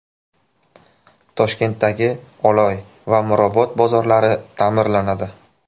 Toshkentdagi Oloy va Mirobod bozorlari ta’mirlanadi.